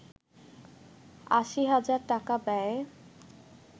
৮০ হাজার টাকা ব্যয়ে